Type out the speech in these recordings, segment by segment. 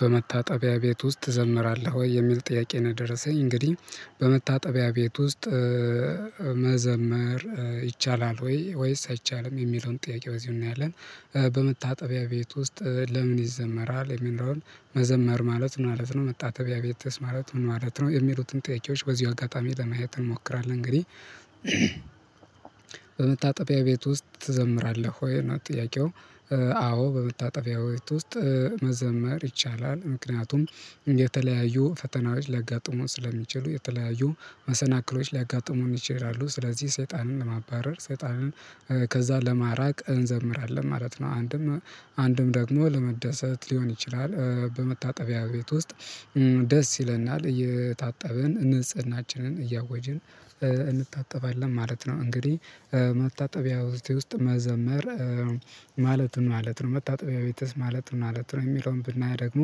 በመታጠቢያ ቤት ውስጥ ትዘምራለህ ወይ? የሚል ጥያቄ ነው ደረሰኝ እንግዲህ በመታጠቢያ ቤት ውስጥ መዘመር ይቻላል ወይ ወይስ አይቻልም የሚለውን ጥያቄ በዚሁ እናያለን በመታጠቢያ ቤት ውስጥ ለምን ይዘመራል የሚኖለውን መዘመር ማለት ምን ማለት ነው መታጠቢያ ቤትስ ማለት ምን ማለት ነው የሚሉትን ጥያቄዎች በዚሁ አጋጣሚ ለማየት እንሞክራለን እንግዲህ በመታጠቢያ ቤት ውስጥ ትዘምራለህ ወይ? ነው ጥያቄው አዎ በመታጠቢያ ቤት ውስጥ መዘመር ይቻላል ምክንያቱም የተለያዩ ፈተናዎች ሊያጋጥሙን ስለሚችሉ የተለያዩ መሰናክሎች ሊያጋጥሙም ይችላሉ ስለዚህ ሰይጣንን ለማባረር ሰይጣንን ከዛ ለማራቅ እንዘምራለን ማለት ነው አንድም አንድም ደግሞ ለመደሰት ሊሆን ይችላል በመታጠቢያ ቤት ውስጥ ደስ ይለናል እየታጠብን ንጽህናችንን እያወጅን እንታጠባለን ማለት ነው እንግዲህ መታጠቢያ ውስጥ መዘመር ማለት ማለት ነው መታጠቢያ ቤትስ ማለት ማለት ነው የሚለውን ብናይ ደግሞ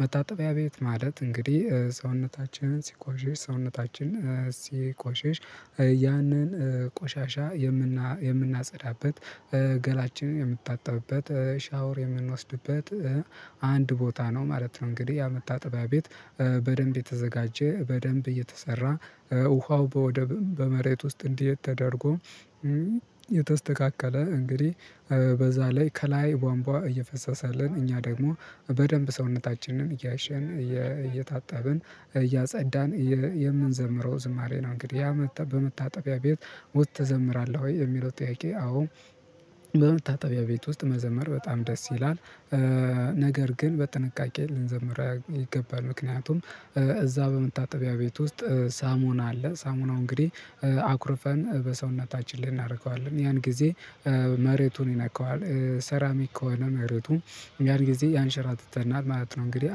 መታጠቢያ ቤት ማለት እንግዲህ ሰውነታችንን ሲቆሽሽ ሰውነታችን ሲቆሽሽ ያንን ቆሻሻ የምናጸዳበት ገላችንን የምንታጠብበት ሻወር የምንወስድበት አንድ ቦታ ነው ማለት ነው እንግዲህ ያ መታጠቢያ ቤት በደንብ የተዘጋጀ በደንብ እየተሰራ ውሃው በወደብ በመሬት ውስጥ እንዲህ ተደርጎ የተስተካከለ እንግዲህ በዛ ላይ ከላይ ቧንቧ እየፈሰሰልን እኛ ደግሞ በደንብ ሰውነታችንን እያሸን እየታጠብን እያጸዳን የምንዘምረው ዝማሬ ነው እንግዲህ ያ በመታጠቢያ ቤት ውስጥ ትዘምራለህ ወይ? የሚለው ጥያቄ አዎ በመታጠቢያ ቤት ውስጥ መዘመር በጣም ደስ ይላል ነገር ግን በጥንቃቄ ልንዘምር ይገባል ምክንያቱም እዛ በመታጠቢያ ቤት ውስጥ ሳሙና አለ ሳሙናው እንግዲህ አኩርፈን በሰውነታችን ላይ እናደርገዋለን ያን ጊዜ መሬቱን ይነካዋል ሰራሚክ ከሆነ መሬቱ ያን ጊዜ ያንሸራትተናል ማለት ነው እንግዲህ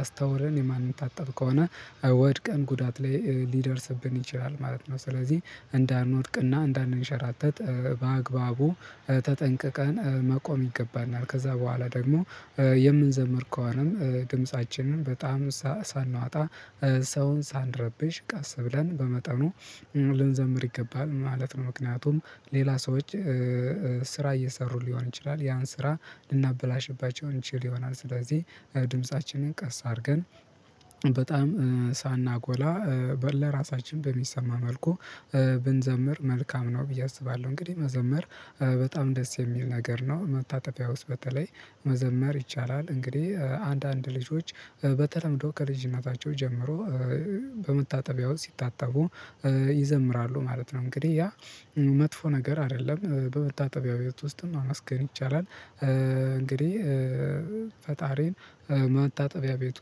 አስተውለን የማንታጠብ ከሆነ ወድቀን ጉዳት ላይ ሊደርስብን ይችላል ማለት ነው ስለዚህ እንዳንወድቅና እንዳንንሸራተት በአግባቡ ተጠንቅቀን መቆም ይገባናል ከዛ በኋላ ደግሞ የምንዘምር ከሆነም ድምጻችንን በጣም ሳናወጣ ሰውን ሳንረብሽ ቀስ ብለን በመጠኑ ልንዘምር ይገባል ማለት ነው ምክንያቱም ሌላ ሰዎች ስራ እየሰሩ ሊሆን ይችላል ያን ስራ ልናበላሽባቸው እንችል ይሆናል ስለዚህ ድምፃችንን ቀስ አድርገን በጣም ሳናጎላ ለራሳችን በሚሰማ መልኩ ብንዘምር መልካም ነው ብዬ አስባለሁ እንግዲህ መዘምር በጣም ደስ የሚል ነገር ነው መታጠቢያ ውስጥ በተለይ መዘመር ይቻላል እንግዲህ አንዳንድ ልጆች በተለምዶ ከልጅነታቸው ጀምሮ በመታጠቢያ ውስጥ ሲታጠቡ ይዘምራሉ ማለት ነው እንግዲህ ያ መጥፎ ነገር አይደለም በመታጠቢያ ቤት ውስጥም ማመስገን ይቻላል እንግዲህ ፈጣሪን መታጠቢያ ቤት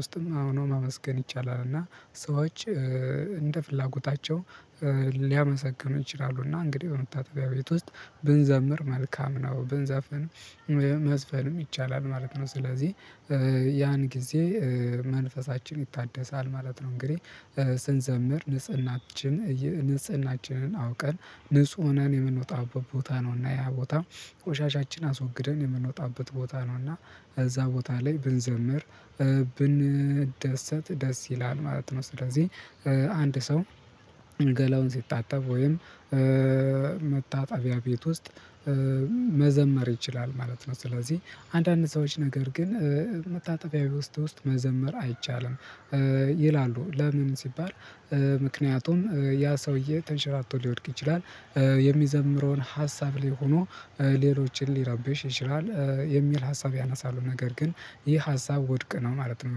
ውስጥም ሆኖ ማመስገን ይቻላል እና ሰዎች እንደ ፍላጎታቸው ሊያመሰግኑ ይችላሉና እንግዲህ በመታጠቢያ ቤት ውስጥ ብንዘምር መልካም ነው ብንዘፈንም መዝፈንም ይቻላል ማለት ነው ስለዚህ ያን ጊዜ መንፈሳችን ይታደሳል ማለት ነው እንግዲህ ስንዘምር ንጽህናችን ንጽህናችንን አውቀን ንጹህ ሆነን የምንወጣበት ቦታ ነውና ያ ቦታ ቆሻሻችን አስወግደን የምንወጣበት ቦታ ነውና እዛ ቦታ ላይ ብንዘምር ብንደሰት ደስ ይላል ማለት ነው ስለዚህ አንድ ሰው ገላውን ሲታጠብ ወይም መታጠቢያ ቤት ውስጥ መዘመር ይችላል ማለት ነው ስለዚህ አንዳንድ ሰዎች ነገር ግን መታጠቢያ ውስጥ ውስጥ መዘመር አይቻልም ይላሉ ለምን ሲባል ምክንያቱም ያ ሰውዬ ተንሸራቶ ሊወድቅ ይችላል የሚዘምረውን ሀሳብ ላይ ሆኖ ሌሎችን ሊረብሽ ይችላል የሚል ሀሳብ ያነሳሉ ነገር ግን ይህ ሀሳብ ውድቅ ነው ማለት ነው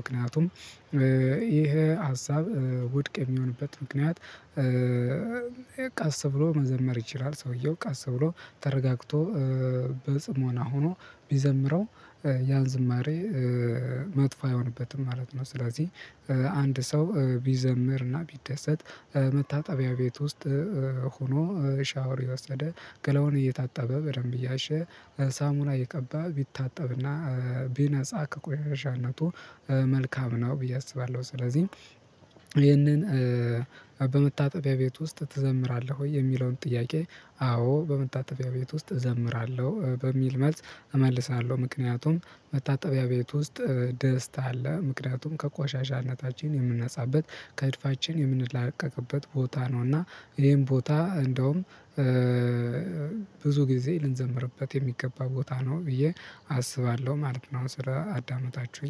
ምክንያቱም ይሄ ሀሳብ ውድቅ የሚሆንበት ምክንያት ቀስ ብሎ መዘመር ይችላል ሰውየው ቀስ ብሎ ተረጋግቶ በጽሞና ሆኖ ቢዘምረው ያን ዝማሬ መጥፎ አይሆንበትም ማለት ነው ስለዚህ አንድ ሰው ቢዘምርና ቢደሰት መታጠቢያ ቤት ውስጥ ሆኖ ሻወር እየወሰደ ገላውን እየታጠበ በደንብ እያሸ ሳሙና እየቀባ ቢታጠብና ቢነጻ ከቆሻሻነቱ መልካም ነው ብዬ አስባለሁ ስለዚህ ይህንን በመታጠቢያ ቤት ውስጥ ትዘምራለህ ወይ? የሚለውን ጥያቄ አዎ በመታጠቢያ ቤት ውስጥ እዘምራለሁ በሚል መልስ እመልሳለሁ ምክንያቱም መታጠቢያ ቤት ውስጥ ደስታ አለ ምክንያቱም ከቋሻሻነታችን የምንነጻበት ከእድፋችን የምንላቀቅበት ቦታ ነው እና ይሄን ቦታ እንደውም ብዙ ጊዜ ልንዘምርበት የሚገባ ቦታ ነው ብዬ አስባለሁ ማለት ነው ስለ አዳመጣችሁኝ